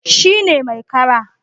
Shi ne mai kara